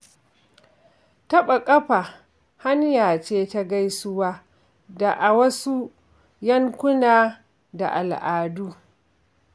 Taɓa ƙafa hanya ce ta gaisuwa da a wasu yankuna da al'adu.